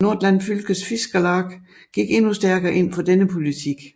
Nordland Fylkes Fiskarlag gik endnu stærkere ind for denne politik